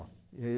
E aí